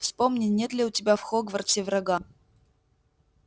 вспомни нет ли у тебя в хогвартсе врага